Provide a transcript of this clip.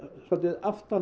aftan